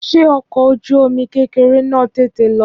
Ṣé ọkọ̀ ojú omi kékeré náà tètè lọ?